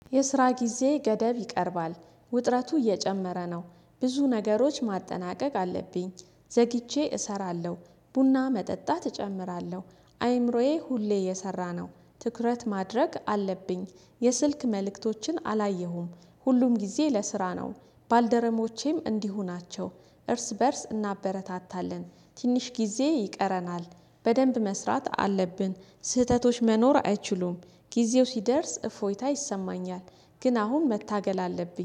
የስራ ጊዜ ገደብ ይቀርባል ውጥረቱ እየጨመረ ነው። ብዙ ነገሮች ማጠናቀቅ አለብኝ። ዘግቼ እሰራለሁ ቡና መጠጣት እጨምራለሁ። አይምሮዬ ሁሌ እየሰራ ነው። ትኩረት ማድረግ አለብኝ የስልክ መልእክቶችን አላየሁም ሁሉም ጊዜ ለስራ ነው። ባልደረሞቼም እንዲሁ ናቸው። እርስ በእርስ እናበረታታለን ትንሽ ጊዜ ይቀረናል። በደንብ መስራት አለብን። ስህተቶች መኖር አይችሉም። ጊዜው ሲደርስ እፎይታ ይሰማኛል። ግን አሁን መታገል አለብኝ